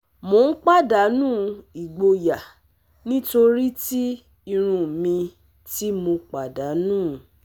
Mo n padanu igboya nitori ti irun mi ti mo padanu